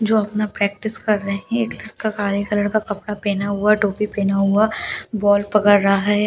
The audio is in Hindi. जो अपना प्रैक्टिस कर रहे है एक लड़का काले कलर का कपड़ा पहने हुआ टोपी पहना हुआ बॉल पकड़ रहा है और बीच में ज--